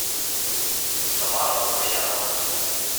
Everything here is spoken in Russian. тамара лукоянова